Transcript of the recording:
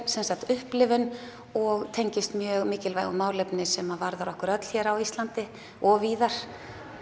sem sagt upplifun og tengist mjög mikilvægu málefni sem varðar okkur öll hér á Íslandi og víðar